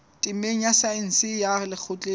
temeng ya saense ya lekgotleng